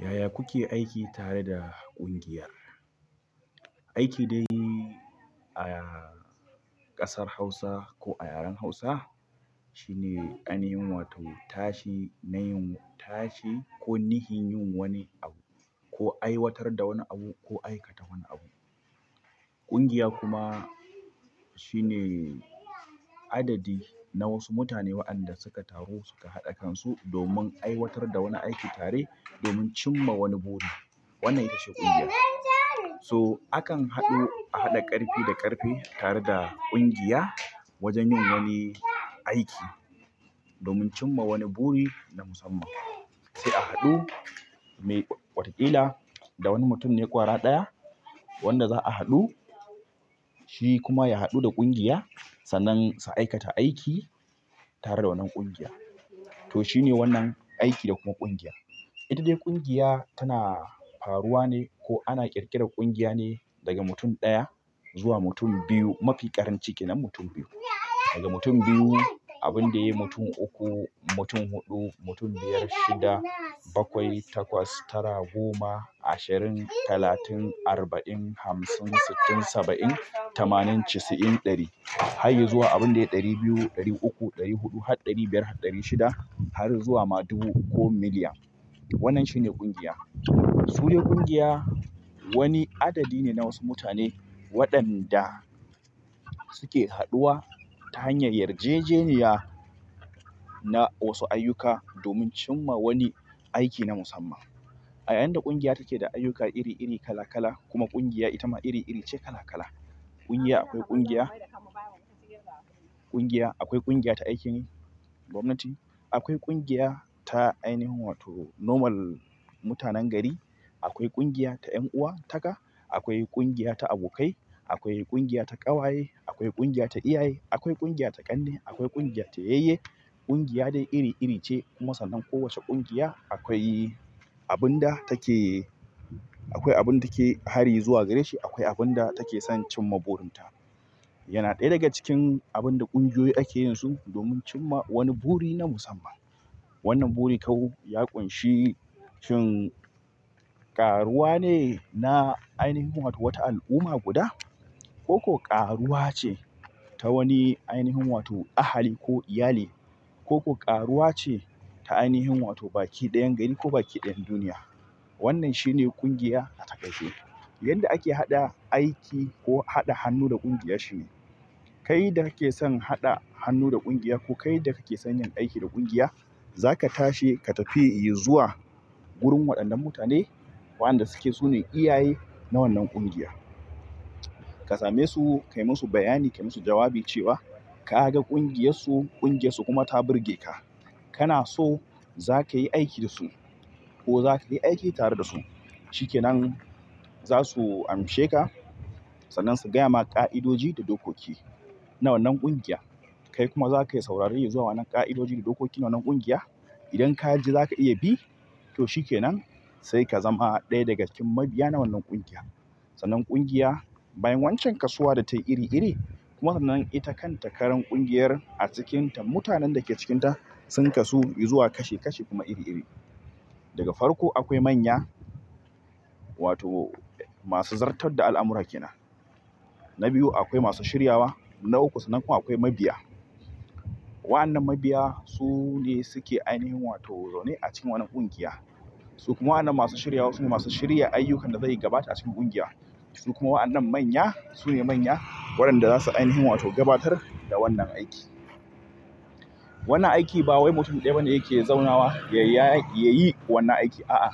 Yaya kuke aiki tare da ƙungiya? Aiki dai a ƙasar Hausa ko a yaren Hausa shine ainihin wato tashi na yin tashi ko nihin yin wani abu ko aiwatar da wani abu ko aikata wani abu. Ƙungiya kuma shine adadi na wasu mutane waɗanda suka taru suka haɗa kansu domin aiwatar da wani aiki tare domin cimma wani buri. Wannan itace ƙungiya. So akan haɗu a haɗa ƙarfi da ƙarfe tare da ƙungiya wajen yin wani aiki domin cimma wani buri na musamman. Sai a haɗu mai watakila da wani mutum ne ƙwara ɗaya wanda za a haɗu. Shi kuma ya haɗu da ƙungiya sannan su aikata aiki tare da wannan ƙungiya. To shine wannan aiki da kuma ƙungiya. Ita dai ƙungiya tana faruwa ne ko ana ƙirƙirar ƙungiya ne daga mutum ɗaya zuwa mutum biyu. Mafi ƙarancin ke nan mutum biyu. Daga mutum biyu abinda yayi mutum uku mutum huɗu mutum biyar mutum shida bakwai, takwas, tara, goma, ashirin, talatin, arba'in, hamsin, sittin, saba'in, tamanin, chisa'in, ɗari har ya zuwa abin da ya ɗari biyu, ɗari uku, ɗari huɗu har ɗari biyar har ɗari shida har zuwa ma dubu ko miliyan. Wannan shine ƙungiya. Su dai ƙungiya wani adadi ne na wasu mutane waɗanda suke haɗuwa ta hanyar yarjejeniya na wasu ayyuka domin cimma wani aiki na musamman. Ayayinda ƙungiya take da ayyuka iri iri kala kala kuma ƙungiya ita ma iri iri ce kala kala. Ƙungiya akwai ƙungiya. Ƙungiya. Akwai ƙungiya ta aikin gwamnati. Akwai ƙungiya ta ainihin wato normal mutanen gari. Akwai ƙungiya ta yanuwa haka. Akwai ƙungiya ta abokai. Akwai ƙungiya ta ƙawaye. Akwai ƙungiya ta iyaye akwai ƙungiya ta kanne. Akwai ƙungiya ta yayye. Ƙungiya dai iri iri ce. Kuma sannan kowace ƙungiya akwai abun da take akwai abun take hari zuwa gare shi. Akwai abun da take son cimma burin ta. Yana ɗaya daga cikin abun da ƙungiyoyi ake yin su domin cimma wani buri na musamman. Wannan buri kawu ya ƙunshi shin ƙaruwa ne na ainihin wato wata al'umma guda ko ƙaruwa ce ta wani ainihin wato ahali ko iyali ko ƙaruwa ce ta ainihin wato baki ɗayan gari ko baki ɗayan duniya. Wannan shine ƙungiya ata kaice yanda ake haɗa aiki ko haɗa hannu da ƙungiya shine. Kai da kake son haɗa hannu da ƙungiya ko kai da kake son yin aiki da ƙungiya, zaka tashi ka tafi izuwa wurin waɗannan mutane waɗanda suke su ne iyaye na wannan ƙungiya. Ka same su, kai musu bayani, kai musu jawabi cewa ka ga ƙungiyarsu. Ƙungiyarsu kuma ta burge ka. Kana so zakayi aiki da su ko zakayi aiki tare da su. Shikenan. Zasu amshe ka sannan su gaya maka ƙa'idoji da dokoki na wannan ƙungiya. Kai kuma zakayi saurari izuwa wannan ka'idoji da dokoki na wannan ƙungiya idan ka ji za ka iya bi, to shikenan. Sai ka zama ɗaya daga cikin mabiya na wannan ƙungiya. Sannan ƙungiya bayan wancan kasuwa da tayi iri iri. Kuma sannan ita kan takaran ƙungiyar a cikinta. Mutanen da ke cikinta sun kasu zuwa kashi kashi kuma iri iri. Da ga farko akwai manya. Wato masu zartar da al'amura kenan. Na biyu akwai masu shiryawa. Na uku sannan kuma akwai mabiya. Waɗannan mabiya su ne suke ainihin wato zaune a cikin wannan ƙungiya. Su kuma waɗannan masu shiryawa suke masu shirya ayyukanta zai yi gaba a cikin ƙungiya. Su kuma wa an nan manya. Su ne manya waɗanda za su ainihin wato gabatar da wannan aiki. Wannan aiki ba wai mutum ɗaya bane yake zaunawa ya yi wannan aiki. A'a.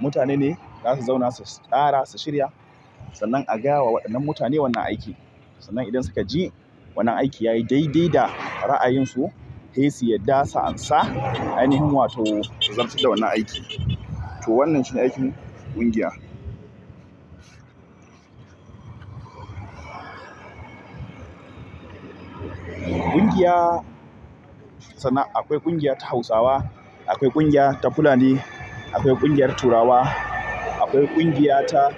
Mutane ne za su zauna su tsara su shirya sannan a gaya wa waɗannan mutane wannan aiki. Sannan idan suka ji wannan aiki yayi daidai da ra'ayinsu, sai su yadda su amsa ainihin wato su zartar da wannan aiki. To wannan shine aikin ƙungiya. Ƙungiya. Sannan akwai ƙungiya ta Hausawa, akwai ƙungiya ta Fulani, akwai ƙungiyar turawa, akwai ƙungiya ta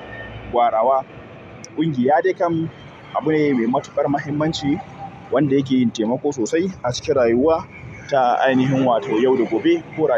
gwarawa. Ƙungiya dai kam abune mai matuƙar muhimmanci wanda yake yin taimako sosai a cikin rayuwa ta ainihin wato yau da gobe. Ko.